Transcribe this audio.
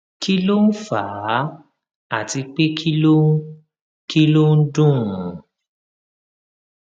kí ló ń fà á àti pé kí ló ń kí ló ń dùn ùn